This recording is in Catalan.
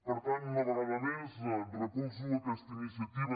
per tant una vegada més recolzo aquesta iniciativa